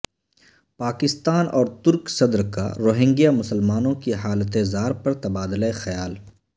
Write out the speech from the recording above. پاکستان اور ترک صدر کا روہنگیا مسلمانوں کی حالت زار پر تبادلہ خیال